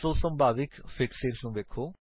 ਸੋ ਸੰਭਾਵਿਕ ਫਿਕਸੇਸ ਵੇਖੋ